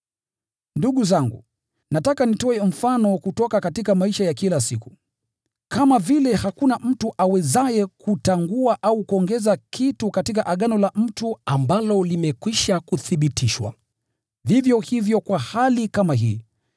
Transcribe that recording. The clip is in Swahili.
Ndugu zangu, nataka nitoe mfano kutoka maisha ya kila siku. Kama vile hakuna mtu awezaye kutangua au kuongeza kitu katika agano la mtu ambalo limekwisha kuthibitishwa, vivyo hivyo kwa hali kama hii.